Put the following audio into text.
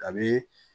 A bi